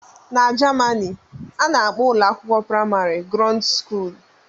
N'jemani ana akpọ ụlọakwụkwọ primari "grundschule"